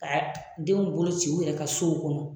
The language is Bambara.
Ka denw bolo ci u yɛrɛw ka sow kɔnɔ.